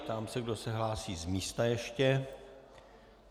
Ptám se, kdo se hlásí z místa ještě.